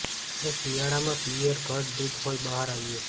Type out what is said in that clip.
જે શિયાળામાં પિઅર ઘટ્ટ દૂધ હોઈ બહાર આવ્યું